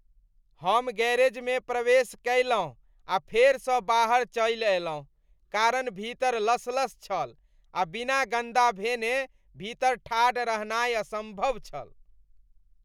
हम गैरेजमे प्रवेश कयलहुँ आ फेरसँ बाहर चलि अयलहुँ कारण भीतर लसलस छल आ बिना गन्दा भेने भीतर ठाढ़ रहनाय असम्भव छल।